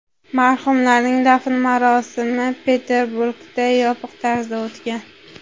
Marhumlarning dafn marosimi Peterburgda yopiq tarzda o‘tgan.